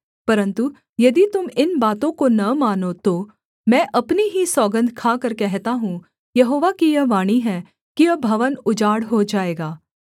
परन्तु यदि तुम इन बातों को न मानो तो मैं अपनी ही सौगन्ध खाकर कहता हूँ यहोवा की यह वाणी है कि यह भवन उजाड़ हो जाएगा